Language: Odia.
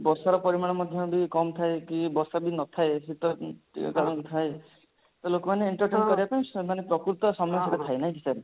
ବର୍ଷାର ପରିମାଣ ମଧ୍ୟ ବି କମ ଥାଏ କି ବର୍ଷା ବି ନଥାଏ ଶିତ କମ ଥାଏ ତ ଲୋକମାନେ entertain କରିବା ପାଇଁ ସେମାନେ ପ୍ରକୃତ ସମୟ ସେଟା ଥାଏ ନାଇଁ କି sir